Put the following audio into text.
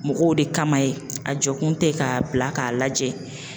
Mɔgɔw de kama ye a jɔ kun tɛ k'a bila k'a lajɛ